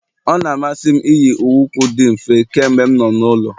Ọ na-amasị m iyi- iheukwu di mfe mgbe m nọ n'ụlọ